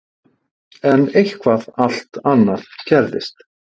En eitthvað allt annað gerðist.